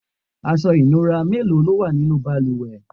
aṣọ ìnura mélòó lówà nínú ìbalùwẹ̀?